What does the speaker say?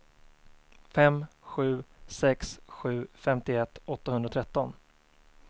fem sju sex sju femtioett åttahundratretton